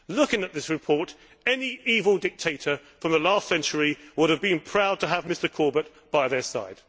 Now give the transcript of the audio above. Looking at this report, any evil dictator from the last century would have been proud to have Mr Corbett by their side.